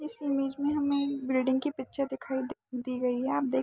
इस इमेज में हमें एक बिल्डिंग की दिखाई दी गई है आप देख --